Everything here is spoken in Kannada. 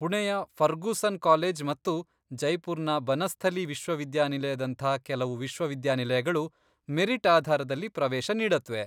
ಪುಣೆಯ ಫರ್ಗೂಸನ್ ಕಾಲೇಜ್ ಮತ್ತು ಜೈಪುರ್ನ ಬನಸ್ಥಲೀ ವಿಶ್ವವಿದ್ಯಾನಿಲಯದಂಥ ಕೆಲವು ವಿಶ್ವವಿದ್ಯಾನಿಲಯಗಳು ಮೆರಿಟ್ ಆಧಾರದಲ್ಲಿ ಪ್ರವೇಶ ನೀಡತ್ವೆ.